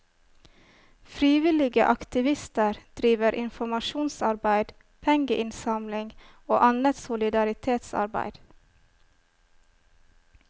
Frivillige aktivister driver informasjonsarbeid, pengeinnsamling og annet solidaritetsarbeid.